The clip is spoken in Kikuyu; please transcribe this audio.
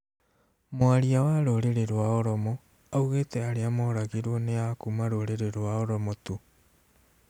Mwaria wa rũrĩrĩ rwa oromo augũĩte arĩa moragirwo nĩ akuma rũrĩrĩ rwa Oromo tu